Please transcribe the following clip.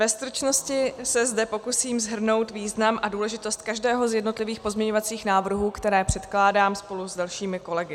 Ve stručnosti se zde pokusím shrnout význam a důležitost každého z jednotlivých pozměňovacích návrhů, které předkládám spolu s dalšími kolegy.